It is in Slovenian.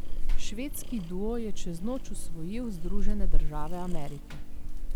Švedski duo je čez noč osvojil Združene države Amerike.